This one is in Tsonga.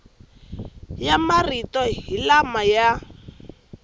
ya marito hi lama ya